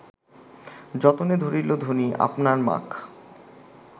যতনে ধরিল ধনি আপনার মাখ